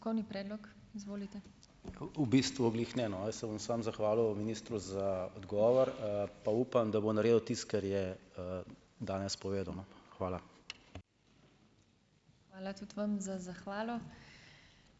V bistvu glih ne, no. Jaz se bom samo zahvalil, ministru za odgovor, pa upam, da bo naredil tisto, kar je, danes povedal, no. Hvala.